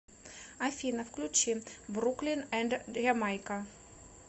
афина включи бруклин энд ямайка